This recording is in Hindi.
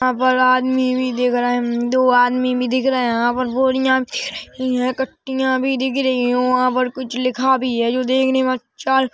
अगर आदमी भी देख रहा है। दो आदमी भी दिख रहा है। यहाँ पर बोरिया भी दिख रही है कट्टीया भी दिख रही है और यहाँ पर कुछ लिखा भी है जो देखने मैं अच्छा--